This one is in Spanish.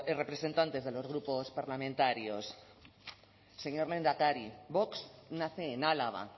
representantes de los grupos parlamentarios señor lehendakari vox nace en álava